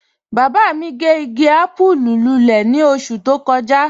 Baba mi gẹ́ igi àpùú lúlẹ̀ ni oṣù tó kọja.